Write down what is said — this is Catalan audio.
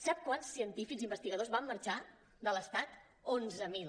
sap quants científics i investigadors van marxar de l’estat onze mil